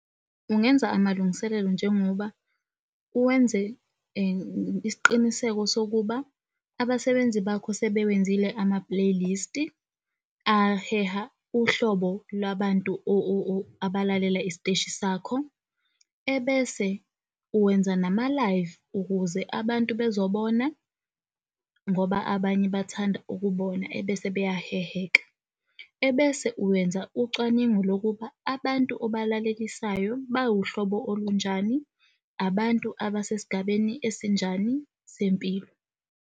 Ungenza amalungiselelo njengoba uwenze isiqiniseko sokuba abasebenzi bakho sebewenzile ama-playlist-i aheha uhlobo lwabantu abalalela isiteshi sakho, ebese uwenza nama-Live ukuze abantu bezobona ngoba abanye bathanda ukubona ebese beyaheheka. Ebese uwenza ucwaningo lokuba abantu obalalelisayo bawuhlobo olunjani, abantu abasesigabeni esinjani sempilo.